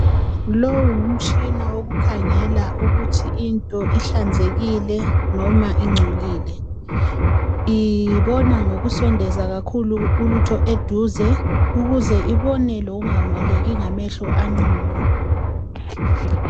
Lowu ngumtshina wokukhangela ukuthi into ihlanzekile noma ingcolile. Ibona ngokusondeza kakhulu ulutho eduze ukuze ibone lokungaboneki ngamehlo anqunu.